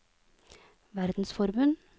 verdensforbund